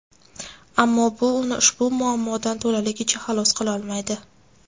Ammo bu uni ushbu muammodan to‘laligicha xalos qilolmaydi.